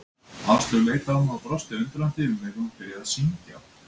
Áslaug leit á mig og brosti undrandi, um leið og hún byrjaði að syngja.